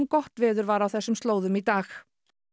gott veður var á þessum slóðum í dag